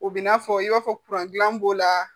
O bin'a fɔ i b'a fɔ b'o la